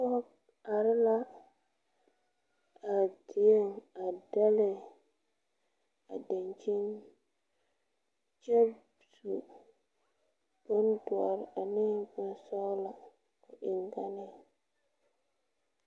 Pɔge are la a dieŋ a dɛle a dankyini kyɛ su bondɔre ane bonsɔglɔ o eŋganeŋ.